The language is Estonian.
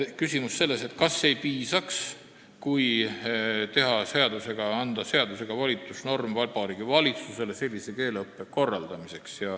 Küsiti, kas ei piisaks sellest, kui anda seadusega Vabariigi Valitsusele volitusnorm sellise keeleõppe korraldamiseks.